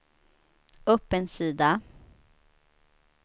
upp en sida